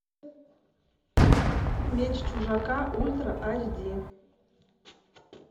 меч чужака ультра аш ди